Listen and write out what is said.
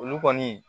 Olu kɔni